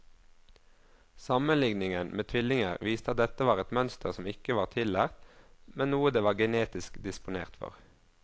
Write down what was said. Sammenligningen med tvillinger viste at dette var et mønster som ikke var tillært, men noe de var genetisk disponert for.